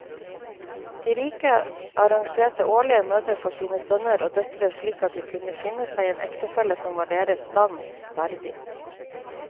De rike arrangerte årlige møter for sine sønner og døtre slik at de kunne finne seg en ektefelle som var deres stand verdig.